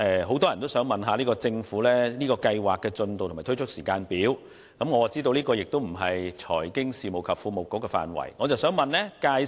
很多市民想向政府查詢先導計劃的進度和推出時間表，我知道這不是財經事務及庫務局的職權範圍。